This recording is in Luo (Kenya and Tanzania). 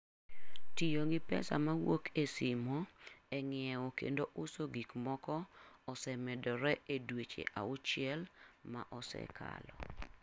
Tiyo gi pesa mawuok e simo e ng'iewo kendo uso gik moko, osemedore e dweche auchiel maosekalo